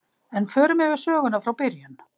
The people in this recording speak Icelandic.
En förum yfir söguna frá byrjun.